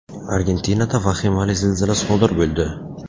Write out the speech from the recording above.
Argentinada vahimali zilzila sodir bo‘ldi.